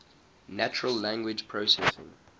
natural language processing